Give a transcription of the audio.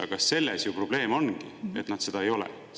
Aga selles ju probleem ongi, et nad seda ei ole.